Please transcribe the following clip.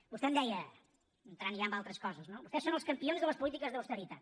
vostè em deia entrant ja en altres coses no vostès són els campions de les polítiques d’austeritat